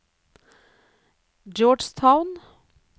Georgetown